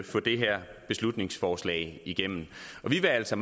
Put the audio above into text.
få det her beslutningsforslag igennem vi vil altså